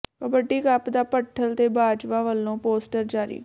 kabaddi cup ਦਾ ਭੱਠਲ ਤੇ ਬਾਜਵਾ ਵੱਲੋਂ ਪੋਸਟਰ ਜਾਰੀ